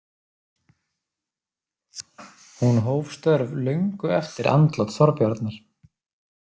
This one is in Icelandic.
Hún hóf störf löngu eftir andlát Þorbjarnar.